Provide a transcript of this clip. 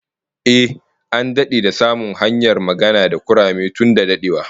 Ehh, an dade da samun hanyar magana da kurame tun da dadewa